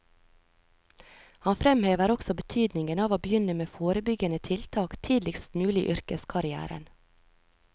Han fremhever også betydningen av å begynne med forebyggende tiltak tidligst mulig i yrkeskarrièren.